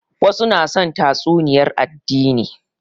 Wasu na son tatsuniyar addini